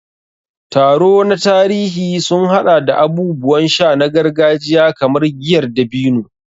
Taro na tarihi sun haɗa da abubuwan sha na gargajiya kamar giyar dabino.